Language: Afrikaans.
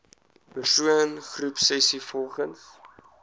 persoon groepsessies volgens